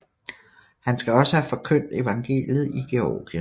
Han skal også have forkyndt evangeliet i Georgien